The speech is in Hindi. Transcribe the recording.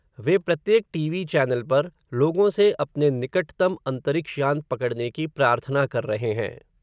वे प्रत्येक टीवी चैनल पर, लोगों से अपने निकट तम अन्तरिक्ष यान पकड़ने की प्रार्थना कर रहे हैं